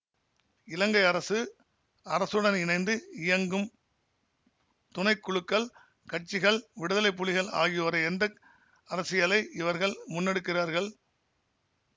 இலங்கை அரசு அரசுடன் இணைந்து இயங்கும் துணை குழுக்கள் கட்சிகள் விடுதலை புலிகள் ஆகியோரை எந்த அரசியலை இவர்கள் முன்னெடுக்கிறார்கள்